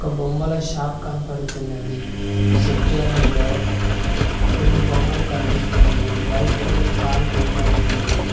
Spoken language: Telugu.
ఒక బొమ్మల షాప్ కనబడుతున్నది సబ్జాలల్లో కొన్ని బొమ్మలు కనిపిస్తున్నాయి వైట్ కలర్ కార్ బొమ్మ ఉన్నది.